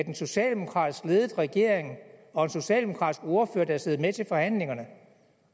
en socialdemokratisk ledet regering og en socialdemokratisk ordfører der har siddet med til forhandlingerne